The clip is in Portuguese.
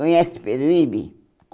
Conhece Peruíbe?